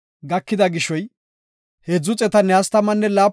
Hareti 30,500; entafe Godaas imetiday 61.